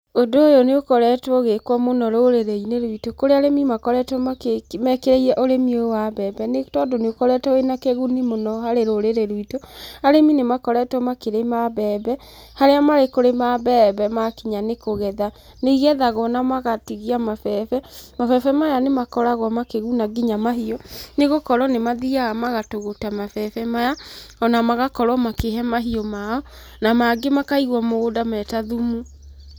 Ũndũ ũyũ nĩ ũkoretwo ũgĩkwo mũno rũrĩrĩ-inĩ ruitũ kũrĩa arĩmi makoretwo mekĩrĩire ũrĩmi wa mbembe nĩ tondũ nĩũkoretwo wĩna kĩguni mũno harĩ rũrĩrĩ ruitũ. Arĩmi nĩmakoretwo makĩrĩma mbembe, harĩa marĩ kũrĩma mbembe na makinya nĩ kũgetha nĩigethagwo na magatigia mabebe. Mabebe maya nĩmakoragwo makĩguna ngina mahiũ nĩgũkorwo nĩgũkorwo nĩ mathiaga magatũgũta mabebe maya ona magakorwo makĩhe mahũ mao na mangĩ makigwo mũgũnda meta thumu.